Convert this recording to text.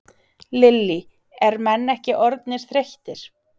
Lillý: Er menn ekki orðnir þreyttir?